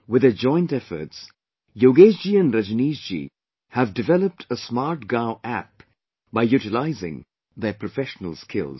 With their joint efforts, Yogesh ji and Rajneesh ji have developed a SmartGaonApp by utilizing their professional skills